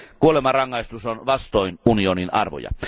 Kuolemanrangaistus on vastoin unionin arvoja.